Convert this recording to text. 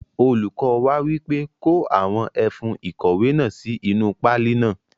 Olùkọ wa wípé; Kó àwọn ẹfun ìkọ̀wé náà sí inú páálí náà.